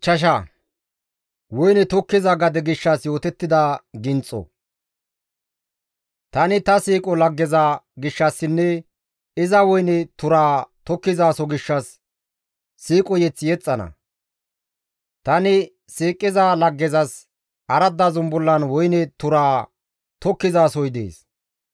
Tani ta siiqo laggeza gishshassinne iza woyne turaa tokkizasoho gishshas siiqo mazamure yexxana. Tani siiqiza laggezas aradda zumbullan woyne turaa tokkizasohoy dees.